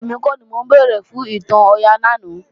Rárá, èmi kọ́ ni mo béèrè fún ìtàn Ọya lánàá